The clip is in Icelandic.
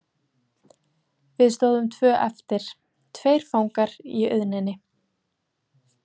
Við stóðum tvö eftir, tveir fangar í auðninni.